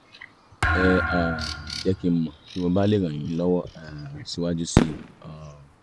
ẹ um jẹ́ kí n mọ̀ bí mo bá lè ràn yín lọ́wọ́ um síwájú síi um